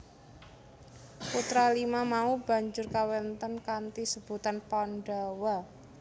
Putra lima mau banjur kawentar kanthi sebutan Pandhawa